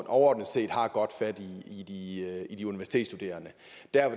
overordnet set har godt fat i i de universitetsstuderende